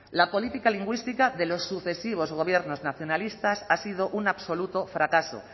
la política lingüística de los sucesivos gobiernos nacionalistas ha sido un absoluto fracaso